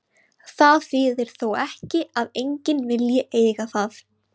Það þýðir þó ekki að enginn vilji eiga það.